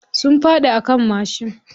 Sun faɗi a kan mashin.